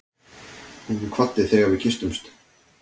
Hún kvaddi þegar við kysstumst.